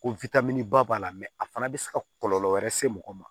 Ko ba b'a la a fana bɛ se ka kɔlɔlɔ wɛrɛ se mɔgɔ ma